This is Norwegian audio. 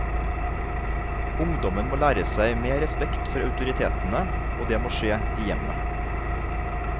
Ungdommen må lære seg mer respekt for autoritetene, og det må skje i hjemmet.